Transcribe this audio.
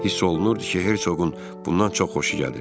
Hiss olunurdu ki, Hersoqun bundan çox xoşu gəlir.